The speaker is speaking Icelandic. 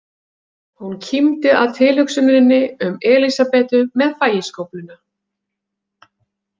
Hún kímdi að tilhugsuninni um Elísabetu með fægiskófluna.